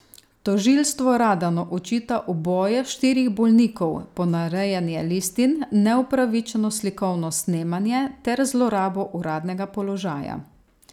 Tožilstvo Radanu očita uboje štirih bolnikov, ponarejanje listin, neupravičeno slikovno snemanje ter zlorabo uradnega položaja.